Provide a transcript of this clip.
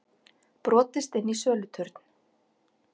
Brotist inn í söluturn